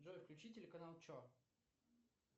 джой включи телеканал че